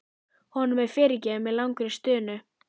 Honum er fyrirgefið með langri stunu.